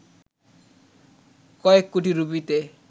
কয়েক কোটি রুপিতে